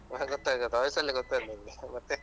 ಗೊತ್ತಾಯ್ತು ಗೊತ್ತಾಯ್ತು voice ಅಲ್ಲೇ ಗೊತ್ತಾಯ್ತು ನನ್ಗೆ ಮತ್ತೆ.